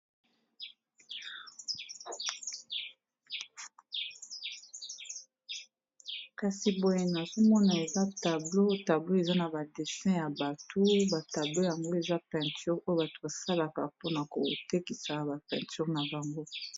kasi boye nazomona eza tablo tablo eza na ba destin ya bato batablo yango eza peinture oyo bato basalaka mpona kotekisa ba peinture na banbo